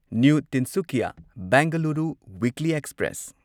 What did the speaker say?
new Tinsukia Bengaluru Weekly express